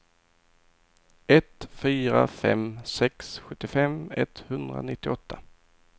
ett fyra fem sex sjuttiofem etthundranittioåtta